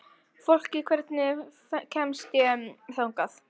Fólki, hvernig kemst ég þangað?